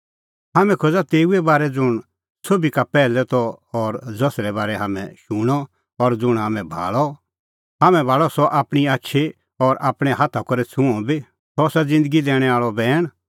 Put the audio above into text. हाम्हैं खोज़ा तेऊए बारै ज़ुंण सोभी का पैहलै त और ज़सरै बारै हाम्हैं शूणअ और ज़ुंण हाम्हैं भाल़अ हाम्हैं भाल़अ सह आपणीं आछी और आपणैं हाथा करै छ़ुंअ बी सह आसा ज़िन्दगी दैणैं आल़अ बैण